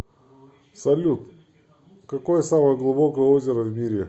салют какое самое глубокое озеро в мире